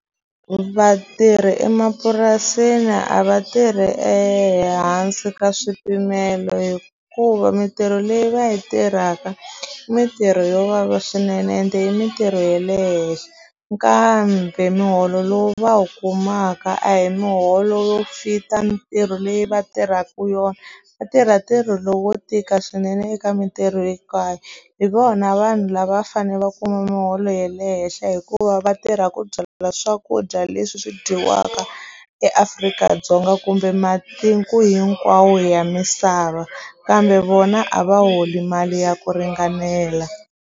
Vatirhi emapurasini a va tirhi ehansi ka swipimelo hikuva mitirho leyi va yi tirhaka mitirho yo vava swinene ende i mitirho ye le henhla kambe muholo lowu va wu kumaka a hi miholo yo fit-a mitirho leyi va tirhaku yona va tirha ntirho lowo tika swinene eka mitirho hinkwayo hi vona vanhu lava fane va kuma muholo ye le henhla hikuva vatirha ku byala swakudya leswi swi dyiwaka eAfrika-Dzonga kumbe matiko hinkwawo ya misava kambe vona a va holi mali ya ku ringanela.